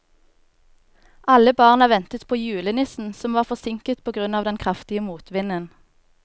Alle barna ventet på julenissen, som var forsinket på grunn av den kraftige motvinden.